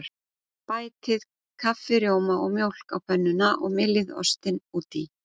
Bætið kaffirjóma og mjólk á pönnuna og myljið ostinn út í.